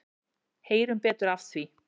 Heyrum betur af því.